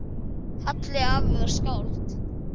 Halli afi var skáld.